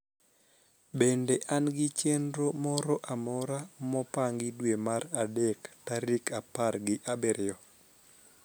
bende an gi chenro moro amora mpangi dwe mar adek tarik apar gi abirio